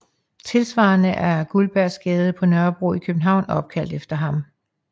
Tilsvarende er Guldbergsgade på Nørrebro i København opkaldt efter ham